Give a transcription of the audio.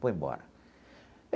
Fui embora.